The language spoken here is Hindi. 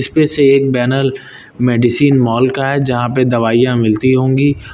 इसमें से एक बैनर मेडिसिन माल का है जहां पर दवाइयां मिलती होंगी।